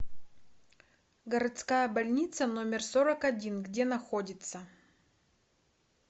городская больница номер сорок один где находится